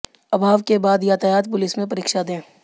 अभाव के बाद यातायात पुलिस में परीक्षा दे